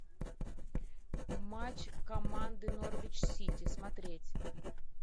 матч команды норвич сити смотреть